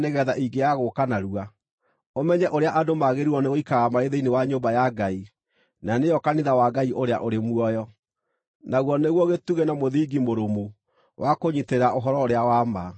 ingĩaga gũũka narua, ũmenye ũrĩa andũ magĩrĩirwo nĩgũikaraga marĩ thĩinĩ wa nyũmba ya Ngai, na nĩyo kanitha wa Ngai ũrĩa ũrĩ muoyo, naguo nĩguo gĩtugĩ na mũthingi mũrũmu wa kũnyiitĩrĩra ũhoro-ũrĩa-wa-ma.